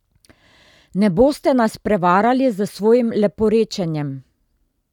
Ne boste nas prevarali s svojim leporečenjem!